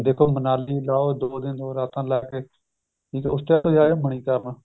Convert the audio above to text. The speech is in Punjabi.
ਮਨਾਲੀ ਲਾਹੋ ਦੋ ਦਿਨ ਦੋ ਰਾਤਾਂ ਲਾਕੇ ਠੀਕ ਏ ਮਨੀਕਰਣ